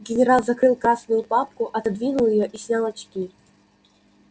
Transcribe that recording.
генерал закрыл красную папку отодвинул её и снял очки